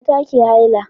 mata ke haihuwa